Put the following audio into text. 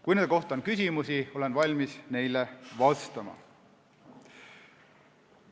Kui selle kohta on küsimusi, olen valmis neile vastama.